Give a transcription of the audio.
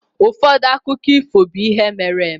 Ụfọdụ akụkọ ifo be ihe mere-eme.